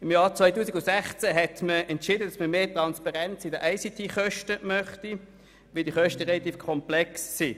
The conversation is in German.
Im Jahr 2016 hat man entschieden, man wolle mehr Transparenz hinsichtlich der ICT-Kosten, weil diese relativ komplex sind.